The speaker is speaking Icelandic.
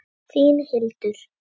Þín, Hildur.